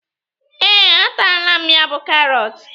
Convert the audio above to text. Ee, a taala m ya bú karọt